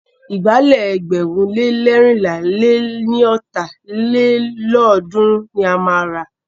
Ìgbálẹ̀ ẹgbẹ̀rún le leérinlá lé ní ọ́ta lélọ́ọ̀dúnrún ni a máa rà.